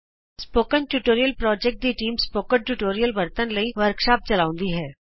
spoken tutorial project ਦੀ team spoken tutorial ਵਰਤਨ ਲਈ ਵਰਕਸ਼ਾਪ ਚਲਾਉਂਦੀ ਹੈ